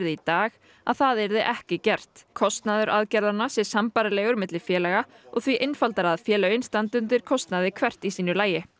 í dag að það yrði ekki gert kostnaður aðgerðanna sé sambærilegur milli félaga og því einfaldara að félögin standi undir kostnaði hvert í sínu lagi